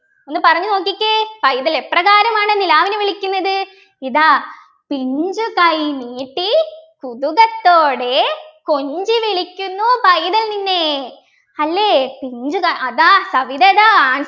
ഒന്ന് പറഞ്ഞു നോക്കിക്കേ പൈതൽ എപ്രകാരമാണ് നിലാവിനെ വിളിക്കുന്നത് ഇതാ പിഞ്ചുകൈ നീട്ടിക്കുതുകത്തോടെ കൊഞ്ചിവിളിക്കുന്നു പൈതൽ നിന്നെ അല്ലെ പിഞ്ചുകൈ അതാ കവിത അതാ